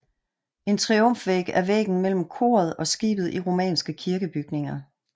En triumfvæg er væggen mellem koret og skibet i romanske kirkebygninger